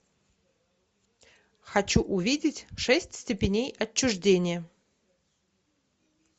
хочу увидеть шесть степеней отчуждения